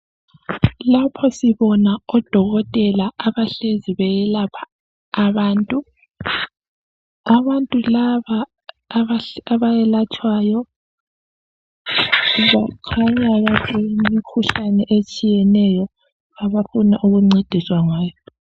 Lapha sibona odokotela abahlezi beyelapha abantu. Abantu laba abayelatshwayo bakhanya balemikhuhlane etshiyeneyo abafuna ukuncediswa ngayo.